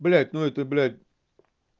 блядь ну это блядь